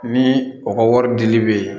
Ni o ka wari dili bɛ yen